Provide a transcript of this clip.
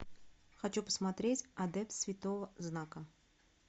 хочу посмотреть адепт святого знака